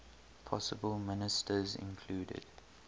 possible ministers included